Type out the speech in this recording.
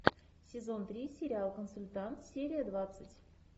сезон три сериал консультант серия двадцать